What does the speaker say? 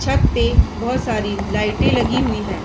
छत पे बहुत सारी लाइटे लगी हुए हैं।